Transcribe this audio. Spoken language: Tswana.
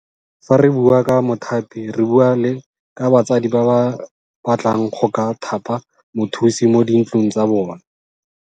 Fa re bua ka mothapi re bua le ka batsadi ba ba batlang go ka thapa mothusi mo di ntlong tsa bona.